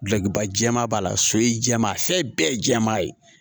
Kulokiba jɛman b'a la so ye jɛma a fɛn bɛɛ ye jɛman ye